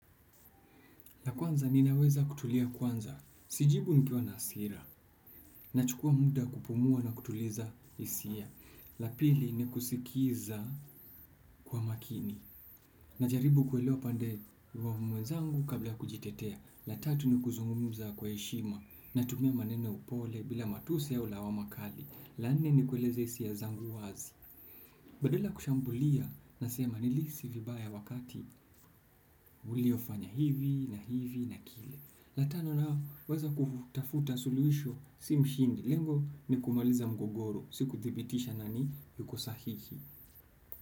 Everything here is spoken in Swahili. La kwanza ninaweza kutulia kwanza, sijibu nkiwa na hasira, na chukua muda kupumua na kutuliza hisia. La pili ni kusikiza kwa makini, na jaribu kuelewa pande wa mwenzangu kabla ya kujitetea. La tatu ni kuzungumuza kwa heshima, natumia maneno ya upole bila matusi au lawama kali. La nne ni kueleza hisia zangu wazi. Badala ya kushambulia nasema nilihisi vibaya wakati uliyofanya hivi na hivi na kile. La, tano naweza kufutafuta suluhisho si mshindi lengo ni kumaliza mgogoro si kuthibitisha nani yuko sahihi.